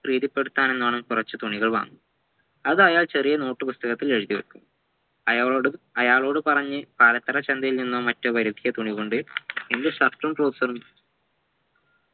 പ്രീതിപെടുത്താനിന്നോളം കുറച്ച തുണികൾ വാങ്ങും അത് അയാൾ ചെറിയ note പുസ്തകത്തിൽ എഴുതിവെക്കും അയാളോട് അയാളോട് പറഞ്ഞ് പാലക്കാട് ചന്തയിൽ നിന്നോ മറ്റോ വരുത്തിയ തുണി കൊണ്ട് ഇന്ന് shirt ഉം trouser ഉം